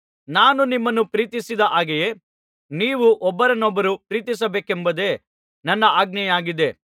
ನಾನು ನಿಮ್ಮನ್ನು ಪ್ರೀತಿಸಿದ ಹಾಗೆಯೇ ನೀವು ಒಬ್ಬರನ್ನೊಬ್ಬರು ಪ್ರೀತಿಸಬೇಕೆಂಬುದೇ ನನ್ನ ಆಜ್ಞೆಯಾಗಿದೆ